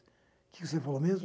O que você falou mesmo?